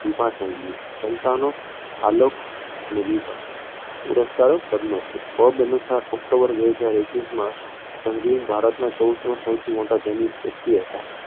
વિભા સંઘવી સંતાનો આલોક અને વિભા પુરસ્કારો પદ્મશ્રી forbe અનુસાર ઓક્ટોબર બે હજાર એકવીસમાં સંઘવી ભારતના ચૌદમાં સૌથી મોટા ધનિક વ્યક્તિ હતા